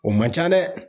O man ca dɛ